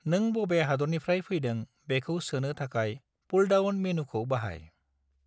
नों बबे हादोरनिफ्राय फैदों बेखौ सोनो थाखाय पुलडाउन मेन्यूखौ बाहाय।